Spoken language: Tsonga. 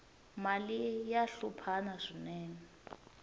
mali ya hluphana swinene